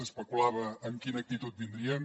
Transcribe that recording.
s’especulava amb quina actitud vindrien